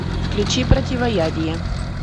включи противоядие